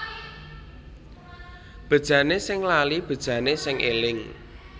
Bejane sing lali bejane sing eling